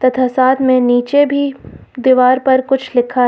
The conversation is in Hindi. तथा साथ में नीचे भी दीवार पर कुछ लिखा है।